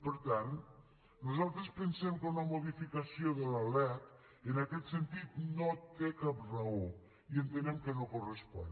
per tant nosaltres pensem que una modificació de la lec en aquest sentit no té cap raó i entenem que no correspon